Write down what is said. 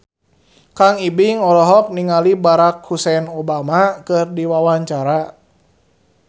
Kang Ibing olohok ningali Barack Hussein Obama keur diwawancara